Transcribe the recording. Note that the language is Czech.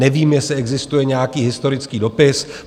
Nevím, jestli existuje nějaký historický dopis.